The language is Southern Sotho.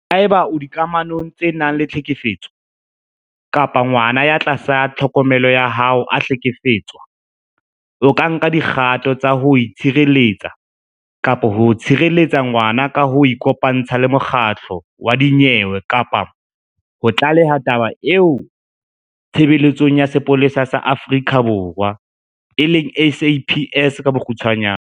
Haeba o le dikamanong tse nang le tlhekefetso kapa ngwana ya tlasa tlhokomelo ya hao a hlekefetswa, o ka nka dikgato tsa ho itshireletsa kapa ho tshireletsa ngwana ka ho ikopantsha le makgotla a dinyewe kapa ho tlaleha taba eo Tshebeletsong ya Sepolesa sa Aforika Borwa SAPS ka bokgutshwanya.